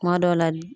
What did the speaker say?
Kuma dɔw la